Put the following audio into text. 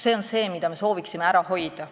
See on see, mida me sooviksime ära hoida.